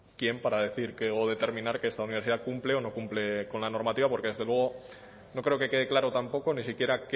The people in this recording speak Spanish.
quién para decir qué o determinar que esta universidad cumple o no cumple con la normativa porque desde luego no creo que quede claro tampoco ni siquiera